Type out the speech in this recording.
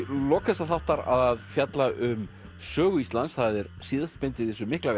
lok þessa þáttar að fjalla um Sögu Íslands það er síðasta bindið í þessu mikla